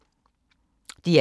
DR1